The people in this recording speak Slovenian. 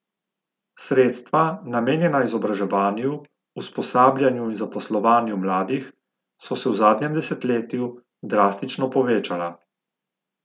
Sredstva, namenjena izobraževanju, usposabljanju in zaposlovanju mladih, so se v zadnjem desetletju drastično povečala.